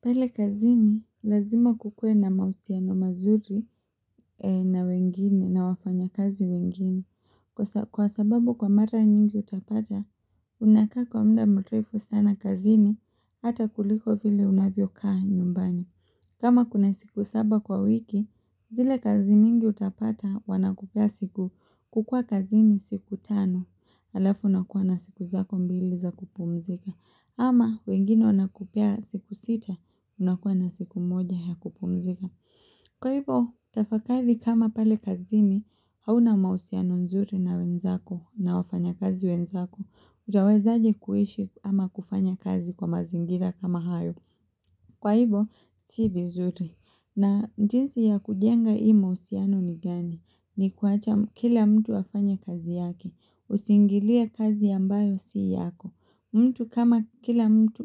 Pale kazini lazima kukue na mahusiano mazuri na wengine na wafanya kazi wengine kwa sababu kwa mara nyingi utapata unakaa kwa muda mrefu sana kazini ata kuliko vile unavyo kaa nyumbani. Kama kuna siku saba kwa wiki, zile kazi mingi utapata wanakupea siku kukua kazini siku tano, alafu unakuwa na siku zako mbili za kupumzika, ama wengine wanakupea siku sita unakuwa na siku moja ya kupumzika. Kwa hivo, tafakari kama pale kazini, hauna mahusiano nzuri na wenzako na wafanya kazi wenzako, hujawezaje kuishi ama kufanya kazi kwa mazingira kama hayo. Kwa hivo, si vizuri. Na njinsi ya kujenga hii mahusiano ni gani? Ni kuwacha kila mtu afanye kazi yake. Usiingilie kazi ambayo si yako. Mtu kama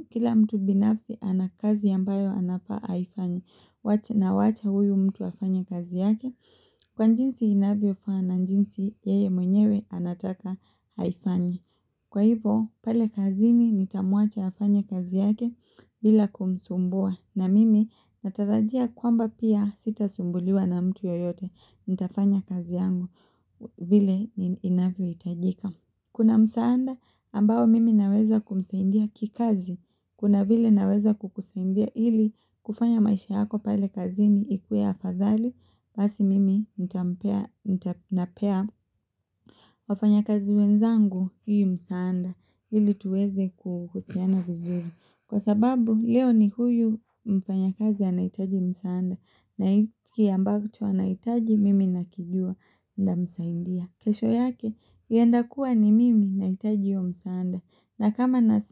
kila mtu binafsi ana kazi ambayo anafaa aifanye. Na wacha huyu mtu afanye kazi yake. Kwa jinsi inavyo faa na njinsi yeye mwenyewe anataka aifanye. Kwa hivo pale kazini nitamuacha afanya kazi yake bila kumsumbua na mimi natarajia kwamba pia sitasumbuliwa na mtu yeyote nitafanya kazi yangu vile inavyohitajika. Kuna msaada ambao mimi naweza kumsaidia kikazi. Kuna vile naweza kukusaidia ili kufanya maisha yako pale kazini ikuwe afadhali basi mimi nitampea nampea wafanya kazi wenzangu hii msaanda ili tuweze kuhusiana vizuri. Kwa sababu leo ni huyu mfanya kazi anahitaji msaanda na hiki ambacho anahitaji mimi nakijua nda msaidia. Kesho yake, yaenda kuwa ni mimi nahitaji hiyo msaanda.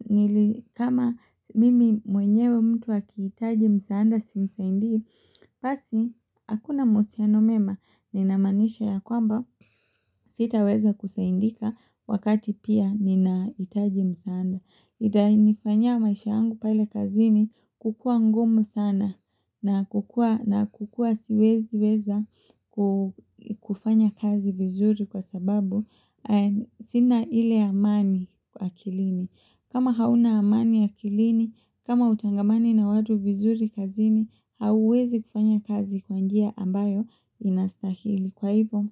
Nili kama mimi mwenyewe mtu akihitaji msaanda simsaidii, basi hakuna mahusiano mema ninamaanisha ya kwamba sitaweza kusaindika wakati pia ninahitaji msaanda. Itainifanyia maisha yangu pale kazini kukua ngumu sana na kukua siwezi weza kufanya kazi vizuri kwa sababu sina ile amani akilini. Kama hauna amani akilini, kama hutangamani na watu vizuri kazini, hauwezi kufanya kazi kwa njia ambayo inastahili. Kwa hivo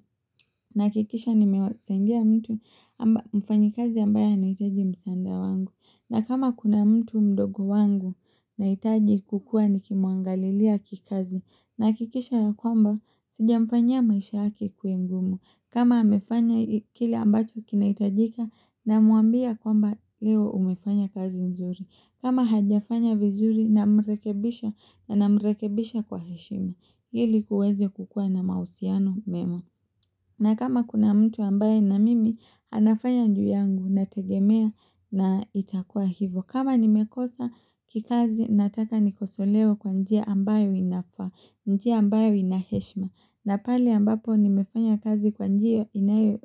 nahakikisha nimewasaidia mtu ama mfanyi kazi ambaye anahitaji msanda wangu na kama kuna mtu mdogo wangu nahitaji kukua nikimwangalilia kikazi Nahakikisha ya kwamba sijamfanyia maisha yake ikuwe ngumu kama amefanya kile ambacho kinahitajika na mwambia kwamba leo umefanya kazi nzuri kama hajafanya vizuri na mrekebisha na ninamrekebisha kwa heshima ili kuweze kukua na mahusiano mema na kama kuna mtu ambaye na mimi anafanya juu yangu nategemea na itakua hivo kama nimekosa kikazi nataka nikosolewe kwa njia ambayo inafaa njia ambayo ina heshima na pale ambapo nimefanya kazi kwa njia inayo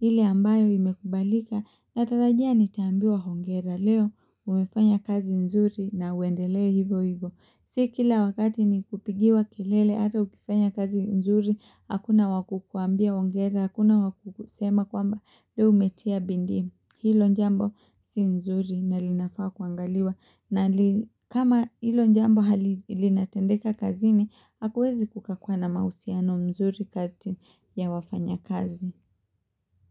ile ambayo imekubalika natarajia nitaambiwa hongera leo umefanya kazi nzuri na uendelee hivo hivo Si kila wakati ni kupigiwa kelele ata ukifanya kazi nzuri, hakuna wa kukuambia ongera, hakuna wa kusema kwamba leo umetia bindii. Hilo jambo si nzuri na linafaa kuangaliwa na kama hilo jambo hali linatendeka kazini, hakuwezi kukakuwa na mahusiano nzuri kati ya wafanyakazi.